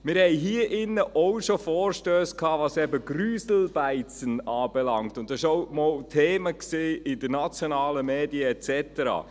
Wir hatten hier auch schon Vorstösse betreffend «Grüselbeize», und das war auch einmal Thema in den nationalen Medien und so weiter.